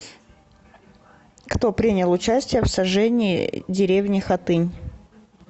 кто принял участие в сожжении деревни хатынь